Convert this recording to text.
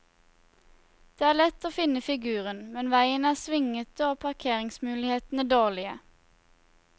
Det er lett å finne figuren, men veien er svingete og parkeringsmulighetene dårlige.